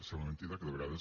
sembla mentida que de vegades